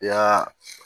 I y'a